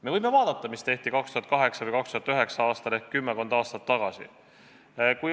Me võime vaadata, mida tehti 2008. või 2009. aastal ehk kümmekond aastat tagasi.